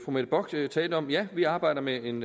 mette bock talte om ja vi arbejder med en